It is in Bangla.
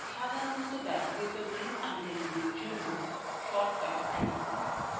সাধারনত ব্যবহৃত menu আইটেমগুলির জন্য shortcut icons bar